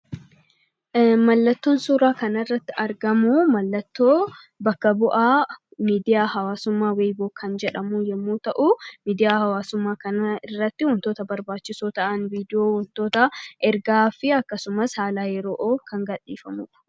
Mallattoon suuraa kanarratti argamu mallattoo bakka bu'aa miidiyaa hawaasaa weeboo kan jedhamuu yommuu ta'u, miidiyaa hawaasummaa kanarratti wantoota barbaachisoo ta'an viidiyoo , ergaa fi haala yeroo kan gadhiifamudha.